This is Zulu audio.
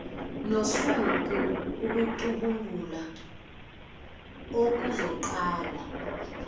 nosuku ukucubungula okuzoqala